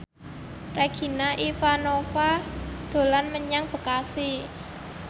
Regina Ivanova dolan menyang Bekasi